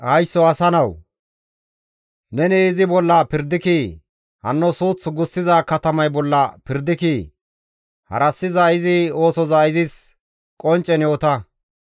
«Haysso asa nawu! Ne izi bolla pirdikii? Hanno suuth gussiza katamay bolla pirdikii? Harassiza izi oosoza izis qonccen yoota.